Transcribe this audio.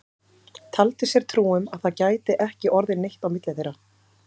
Taldi sér trú um að það gæti ekki orðið neitt á milli þeirra.